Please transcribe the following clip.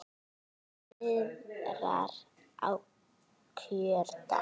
Hvernig viðrar á kjördag?